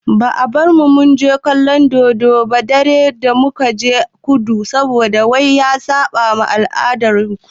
Ba a bar mu munje kallon dodon dare ba da mukaje kudu saboda wai ya saɓa ma al'adar su.